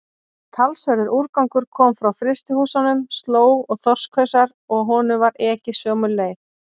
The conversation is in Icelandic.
Talsverður úrgangur kom frá frystihúsunum, slóg og þorskhausar, og honum var ekið sömu leið.